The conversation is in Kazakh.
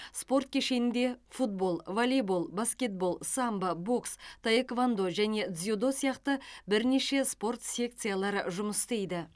спорт кешенінде футбол волейбол баскетбол самбо бокс таэквондо және дзюдо сияқты бірнеше спорт секциялары жұмыс істейді